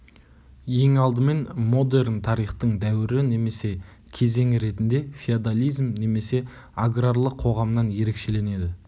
ең алдымен модерн тарихтың дәуірі немесе кезеңі ретінде феодализм немесе аграрлы қоғамнан ерекшеленеді